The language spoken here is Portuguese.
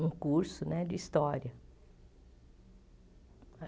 um curso né de História.